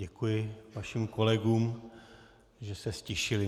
Děkuji vašim kolegům, že se ztišili.